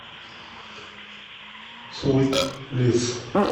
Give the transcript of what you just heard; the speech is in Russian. свит лиф